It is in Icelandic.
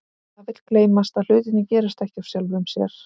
En það vill gleymast að hlutirnir gerast ekki af sjálfu sér.